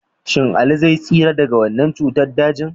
Shin Ali zai tsira daga wannan cutar dajin?